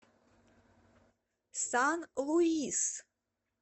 сан луис